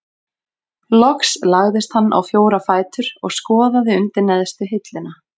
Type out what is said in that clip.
Loks lagðist hann á fjóra fætur og skoðaði undir neðstu hilluna.